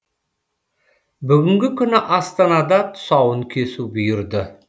бүгінгі күні астанада тұсауын кесу бұйырды